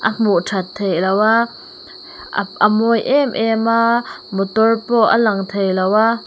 a hmuh that theih loh a a mawi em em a motor pawh a lang thei lo a.